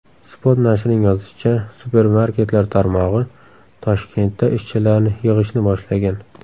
Spot nashrining yozishicha , supermarketlar tarmog‘i Toshkentda ishchilarni yig‘ishni boshlagan.